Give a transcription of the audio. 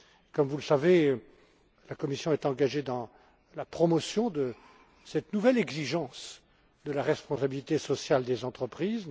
Comme vous le savez, la Commission est engagée dans la promotion de cette nouvelle exigence de la responsabilité sociale des entreprises